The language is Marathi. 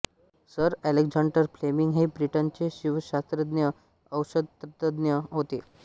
सर अलेक्झांडर फ्लेमिंग हे ब्रिटनचे जीवशास्त्रज्ञ औषधतज्ञ होते